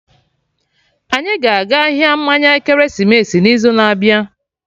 Anyị ga-aga ahịa mmanya ekeresimesi n'izu na-abịa